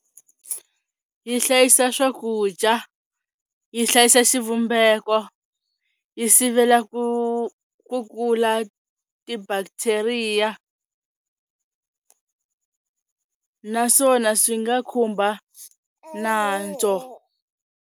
Yi hlayisa swakudya, yi hlayisa xivumbeko, yi sivela ku ku kula ti-bacteria naswona swi nga khumba nantso.